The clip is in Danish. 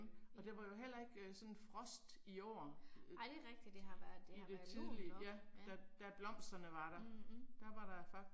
Ja. Ej det er rigtigt det har været, det har været lunt og ja. Mh